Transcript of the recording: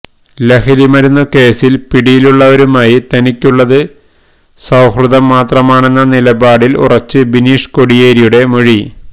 ലഹരിമരുന്നു കേസില് പിടിയിലുള്ളവരുമായി തനിക്കുള്ളത് സൌഹൃദം മാത്രമാണെന്ന നിലപാടില് ഉറച്ച് ബിനീഷ് കോടിയേരിയുടെ മൊഴി